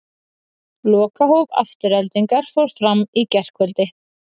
Lokahóf Aftureldingar fór fram í gærkvöldi.